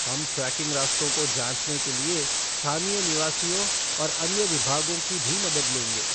हम ट्रेकिंग रास्तों को जाँचने के लिए स्थानीय निवासियों और अन्य विभागों की भी मदद लेंगे।